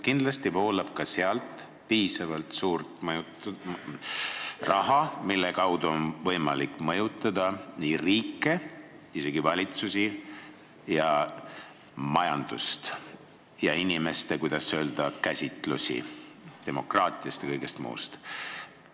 Kindlasti voolab läbi pankade piisavalt suur hulk raha, mille kaudu on võimalik mõjutada riike, valitsusi, majandust, samuti inimeste käsitust demokraatiast ja kõigest muust.